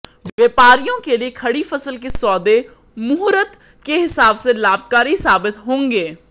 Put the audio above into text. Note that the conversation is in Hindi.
व्यापारियों के लिए खड़ी फसल के सौदे मुहूर्त के हिसाब से लाभकारी साबित होंगे